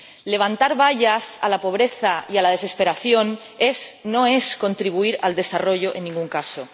Levantar vallas a la pobreza y a la desesperación no es contribuir al desarrollo en ningún caso.